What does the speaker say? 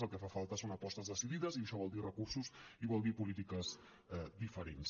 el que fa falta són apostes decidides i això vol dir recursos i vol dir polítiques diferents